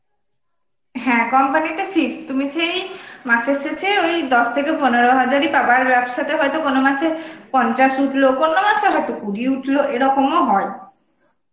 হ্যাঁ, company তে fixed তুমি সেই আ মাসের শেসে ওই দশ থেকে পনেরো হাজার ই পাবা আর ব্যবসা তে হইতো কোনো মাসে আঁ পঞ্চাশ হলো কোনো মাসে হইতো কুড়ি উঠলো এরকম ও হয়